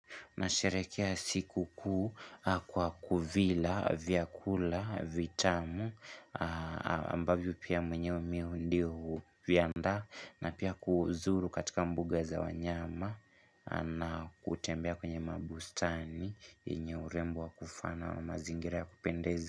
Na sherehekea siku kuu kwa kuvila, vyakula, vitamu, ambavyo pia mwenyewe miu ndio viandaa na pia kuzuru katika mbuga za wanyama na kutembea kwenye mabustani yenye urembo wa kufana na mazingira ya kupendezi.